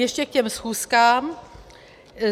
Ještě k těm schůzkám.